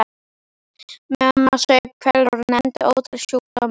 Mamma saup hveljur og nefndi ótal sjúkdóma.